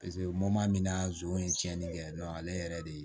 min na zon ye tiɲɛni kɛ ale yɛrɛ de